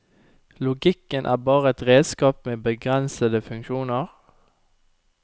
Logikken er bare et redskap med begrensede funksjoner.